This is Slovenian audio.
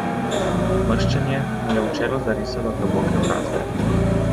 Mrščenje mu je v čelo zarisalo globoke brazde.